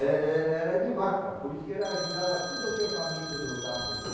É é era de vaca, por isso que ela ajudava tudo o que era faminto do da África.